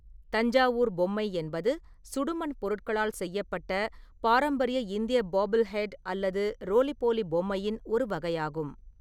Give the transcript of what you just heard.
தஞ்சாவூர் பொம்மை என்பது சுடுமண் பொருட்களால் செய்யப்பட்ட பாரம்பரிய இந்திய பாப்பில் ஹெட் அல்லது ரோலி போலி பொம்மையின் ஒரு வகையாகும்.